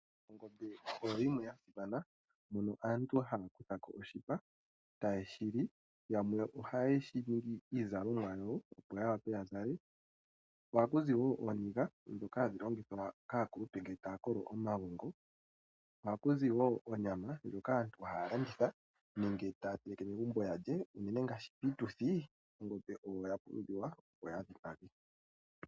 Ongombe oyo yimwe ya simana mono aantu haya kutha ko oshipa taye shi li yamwe ohaye shi ningi iizalomwa yawo opo ya wape ya zale, ko oha kuzi wo ooniga ndhoka hadhi longithwa kaakulupe ngele taya kolo omagongo. Oha ku zi wo onyama ndjoka aantu haya landitha nenge taya teleke megumbo ya lye, unene ngaashi piituthi ongombe oyo ya pumbiwa opo ya dhipage.